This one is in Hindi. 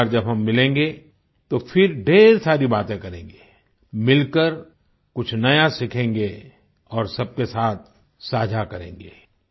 अगली बार जब हम मिलेंगें तो फिर ढ़ेर सारी बातें करेंगे मिलकर कुछ नया सीखेंगे और सबके साथ साझा करेंगें